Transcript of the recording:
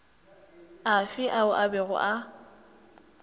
afe ao a bego a